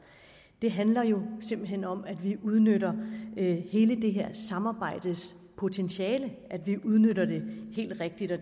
det handler jo simpelt hen om at vi udnytter hele dette samarbejdes potentiale helt rigtigt og